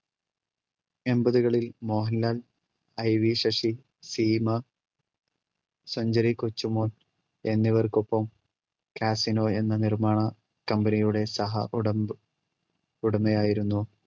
എൺപത്കളിൽ Mohanlal, IV Sasi, Seema, century Kochumon എന്നിവർക്കൊപ്പം casino എന്ന നിർമ്മാണ കമ്പനിയുടെ സഹ ഉടമ്പ് ഉടമയായിരുന്നു